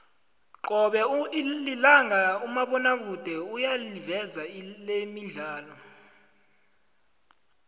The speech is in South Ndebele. cobe lilanga umabonakude uyayiveza lemidlalo